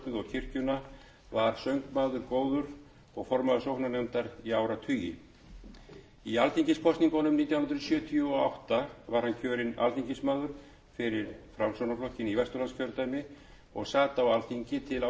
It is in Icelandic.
kirkjuna var söngmaður góður og formaður sóknarnefndar í áratugi í alþingiskosningunum nítján hundruð sjötíu og átta var hann kjörinn alþingismaður fyrir framsóknarflokkinn í vesturlandskjördæmi og sat á alþingi til nítján hundruð níutíu